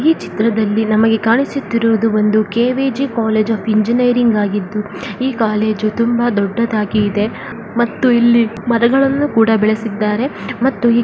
ಈ ಚಿತ್ರದಲ್ಲಿ ನಮಗೆ ಕಾಣಿಸುತ್ತಿರುವುದು ಒಂದು ಕೆ.ವಿ.ಜಿ ಕಾಲೇಜ್ ಆಫ್ ಇಂಜಿನಿಯರಿಂಗ್ ಆಗಿದ್ದು ಈ ಕಾಲೇಜು ತುಂಬಾ ದೊಡ್ಡದಾಗಿದೆ ಮತ್ತು ಇಲ್ಲಿ ಮರಗಳನ್ನು ಕೂಡಾ ಬೆಳೆಸಿದ್ದಾರೆ ಮತ್ತು --